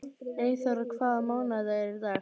Eyþóra, hvaða mánaðardagur er í dag?